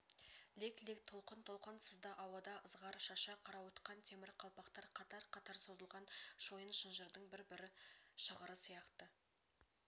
лек-лек толқын-толқын сызды ауада ызғар шаша қарауытқан темір қалпақтар қатар-қатар созылған шойын шынжырдың бір-бір шығыры сияқты